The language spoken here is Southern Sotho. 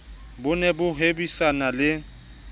bo ne bo hwebisana le